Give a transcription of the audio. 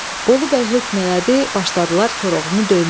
Bolubəy hökm elədi, başladılar Koroğlunu döyməyə.